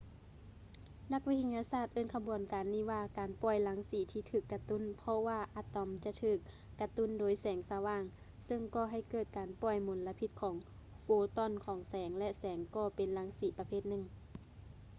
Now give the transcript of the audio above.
ນັກວິທະຍາສາດເອີ້ນຂະບວນການນີ້ວ່າ ການປ່ອຍລັງສີທີ່ຖືກກະຕຸ້ນ ເພາະວ່າອະຕອມຈະຖືກກະຕຸ້ນໂດຍແສງສະຫວ່າງ ເຊິ່ງກໍໃຫ້ເກີດການປ່ອຍມົນລະພິດຂອງໂຟຕອນຂອງແສງ ແລະ ແສງກໍເປັນລັງສີປະເພດໜຶ່ງ